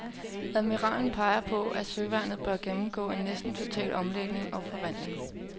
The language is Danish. Kontreadmiralen peger på, at søværnet bør gennemgå en næsten total omlægning og forvandling.